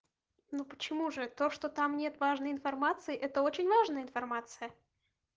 ну почему же это что там нет важной информации это очень важная информация